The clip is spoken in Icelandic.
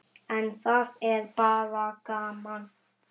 En það er bara gaman.